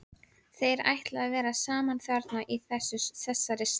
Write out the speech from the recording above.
Þeir ætla að vera saman þarna í þessari slægju.